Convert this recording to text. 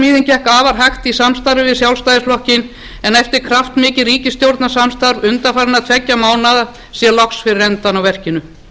brúarsmíðin gekk afar hægt í samstarfi við sjálfstæðisflokkinn en eftir kraftmikið ríkisstjórnarsamstarf undanfarinna tveggja mánaða sér loks fyrir endann á verkinu